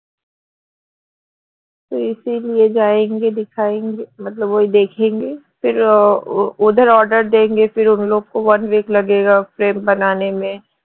ওদের order one week frame